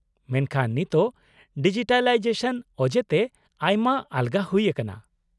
-ᱢᱮᱱᱠᱷᱟᱱ ᱱᱤᱛᱚᱜ ᱰᱤᱡᱤᱴᱟᱞᱟᱭᱡᱮᱥᱚᱱ ᱚᱡᱮᱛᱮ ᱟᱭᱢᱟ ᱟᱞᱜᱟ ᱦᱩᱭ ᱟᱠᱟᱱᱟ ᱾